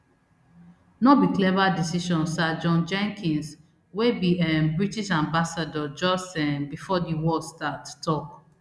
no be clever decision sir john jenkins wey be um british ambassador just um before di war start tok